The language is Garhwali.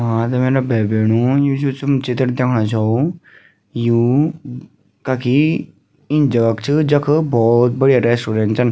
हाँ त मेरा भाई भेणाे यु जो तुम चित्र दिखणा छौं यु कखी इन जगह क च जख भोत बढ़िया रेस्टोरेंट छन।